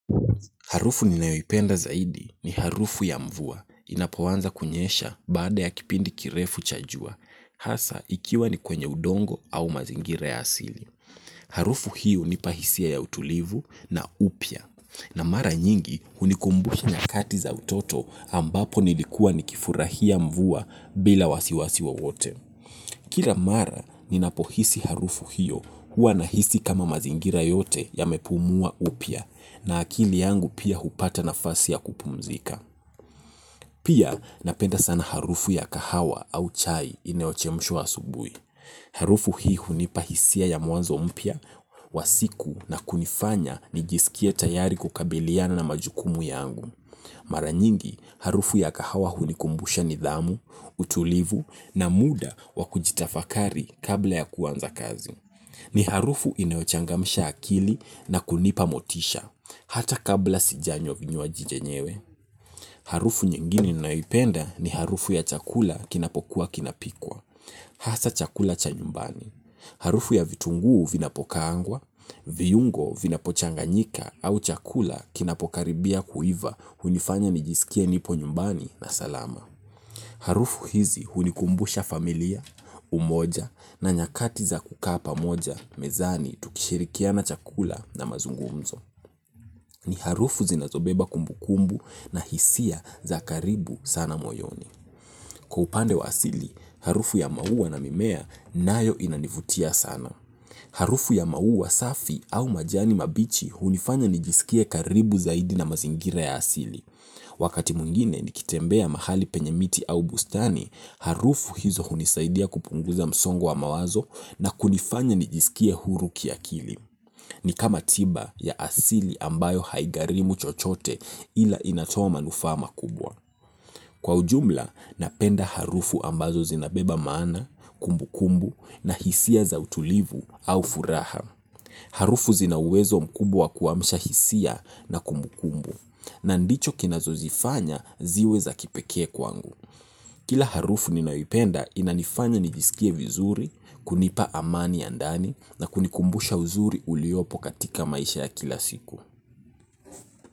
Harufu ninayoipenda zaidi ni harufu ya mvua, inapoanza kunyesha baada ya kipindi kirefu cha jua, hasa ikiwa ni kwenye udongo au mazingira ya asili. Harufu hiyo hunipa hisia ya utulivu na upya, na mara nyingi hunikumbushi na nyakati za utoto ambapo nilikua ni kifurahia mvua bila wasiwasi wowote. Kila mara ninapohisi harufu hiyo huwa nahisi kama mazingira yote yamepumua upya na akili yangu pia hupata nafasi ya kupumzika. Pia napenda sana harufu ya kahawa au chai inayochemshwa asubuhi harufu hii hunipa hisia ya mwanzo mpya wa siku na hunifanyi nijisikie tayari kukabiliana na majukumu yangu mara nyingi harufu ya kahawa hunikumbusha nidhamu utulivu na muda wa kujitafakari kabla ya kuanza kazi. Ni harufu inayochangamsha akili na kunipa motisha, hata kabla sijanywa vinywaji vyenyewe. Harufu nyinginie ninayoipenda ni harufu ya chakula kinapokuwa kinapikwa, hasa chakula cha nyumbani. Harufu ya vitunguu vinapokaangwa, viungo vinapochanganyika au chakula kinapokaribia kuiva hunifanya nijisikie nipo nyumbani na salama. Harufu hizi hunikumbusha familia, umoja na nyakati za kukaa pamoja mezani tukishirikia na chakula na mazungumzo. Ni harufu zinazobeba kumbukumbu na hisia za karibu sana moyoni. Kwa upande wa asili, harufu ya maua na mimea nayo inanivutia sana. Harufu ya maua safi au majani mabichi hunifanya nijisikie karibu zaidi na mazingira ya asili. Wakati mwingine nikitembea mahali penye miti au bustani, harufu hizo hunisaidia kupunguza msongo wa mawazo na kunifanya nijisikie huru kiakili. Ni kama tiba ya asili ambayo haigharimu chochote ila inatoa manufaa makubwa. Kwa ujumla napenda harufu ambazo zinabeba maana, kumbu kumbu na hisia za utulivu au furaha. Harufu zina uwezo mkubwa wa kuamsha hisia na kumbu kumbu na ndicho kinazozifanya ziwe za kipekee kwangu. Kila harufu ninayoipenda inanifanya nijisikie vizuri, kunipa amani ya ndani na kunikumbusha uzuri uliopo katika maisha ya kila siku.